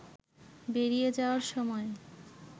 বেরিয়ে যাওয়ার সময়